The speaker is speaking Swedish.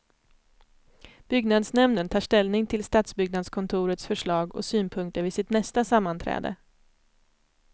Byggnadsnämnden tar ställning till stadsbyggnadskontorets förslag och synpunkter vid sitt nästa sammanträde.